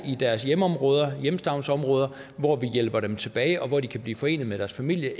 i deres hjemområder hjemstavnsområder hvor vi hjælper dem tilbage og hvor de kan blive forenet med deres familie og